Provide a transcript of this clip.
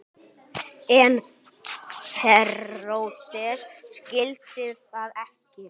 En Heródes skildi það ekki.